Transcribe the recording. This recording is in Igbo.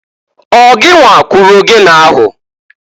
Ọ gịnwa kụrụ ogene ahụ?